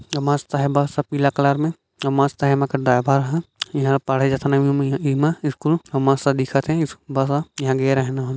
मस्त है बस पीला कलर मे अउ मस्त हैं एमा के ड्राइवर ह इँहा पढ़े जाथन इमा स्कूल मस्त दिखत हैं स बस ह इँहा गे रेहेन हम।